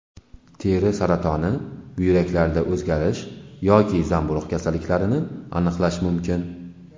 Teri saratoni, buyraklarda o‘zgarish yoki zamburug‘ kasalliklarini aniqlash mumkin.